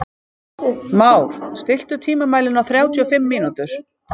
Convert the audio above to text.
Már, stilltu tímamælinn á þrjátíu og fimm mínútur.